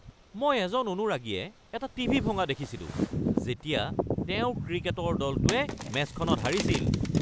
মই এজন অনুৰাগীয়ে এটা টিভি ভঙা দেখিছিলো যেতিয়া তেওঁৰ ক্ৰিকেটৰ দলটোৱে মেচখনত হাৰিছিল।